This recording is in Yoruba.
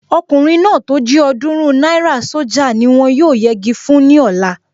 Ọkùnrin náà tó jí ọ̀ọ́dúrún náírà sójà ni wọ́n yóò yegi fún ní ọ̀la